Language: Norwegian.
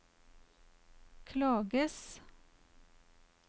klages